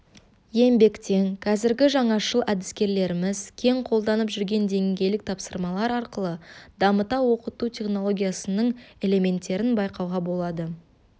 еңбектен қазіргі жаңашыл әдіскерлеріміз кең қолданып жүрген деңгейлік тапсырмалар арқылы дамыта оқыту технологиясының элементтерін байқауға болады